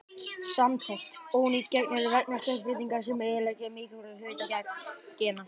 Samantekt: Ónýt gen eru vegna stökkbreytinga sem eyðileggja mikilvæga hluta gena.